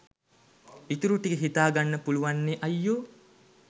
ඉතුරු ටික හිතාගන්න පුළුවන් නෙ අයියෝ